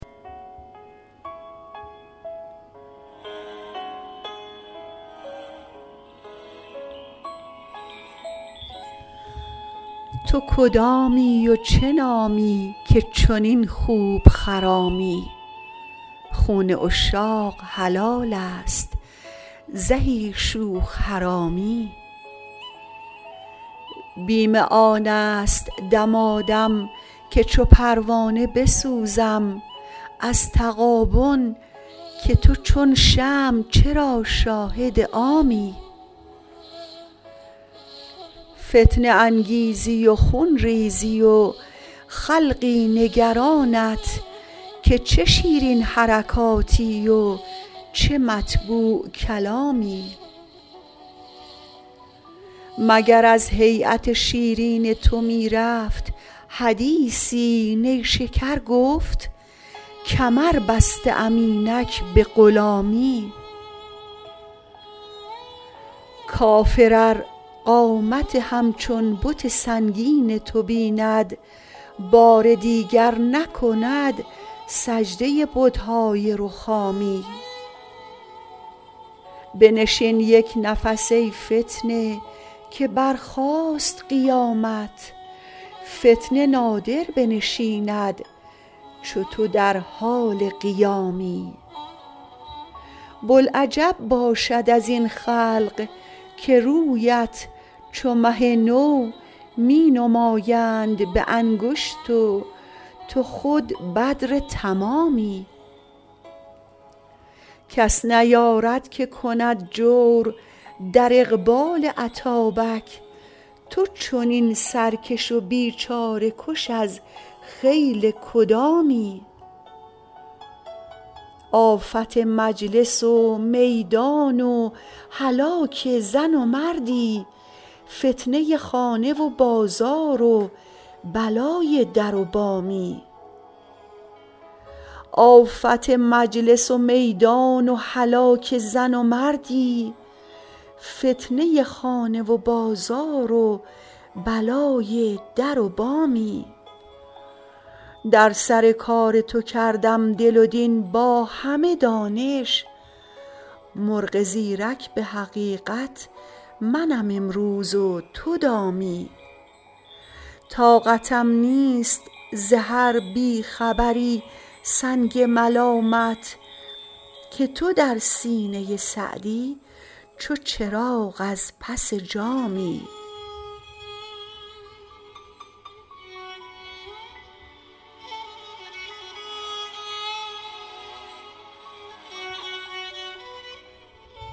تو کدامی و چه نامی که چنین خوب خرامی خون عشاق حلال است زهی شوخ حرامی بیم آن است دمادم که چو پروانه بسوزم از تغابن که تو چون شمع چرا شاهد عامی فتنه انگیزی و خون ریزی و خلقی نگرانت که چه شیرین حرکاتی و چه مطبوع کلامی مگر از هییت شیرین تو می رفت حدیثی نیشکر گفت کمر بسته ام اینک به غلامی کافر ار قامت همچون بت سنگین تو بیند بار دیگر نکند سجده بت های رخامی بنشین یک نفس ای فتنه که برخاست قیامت فتنه نادر بنشیند چو تو در حال قیامی بلعجب باشد از این خلق که رویت چو مه نو می نمایند به انگشت و تو خود بدر تمامی کس نیارد که کند جور در اقبال اتابک تو چنین سرکش و بیچاره کش از خیل کدامی آفت مجلس و میدان و هلاک زن و مردی فتنه خانه و بازار و بلای در و بامی در سر کار تو کردم دل و دین با همه دانش مرغ زیرک به حقیقت منم امروز و تو دامی طاقتم نیست ز هر بی خبری سنگ ملامت که تو در سینه سعدی چو چراغ از پس جامی